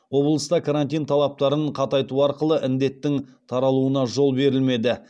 облыста карантин талаптарын қатайту арқылы індеттің таралуына жол берілмеді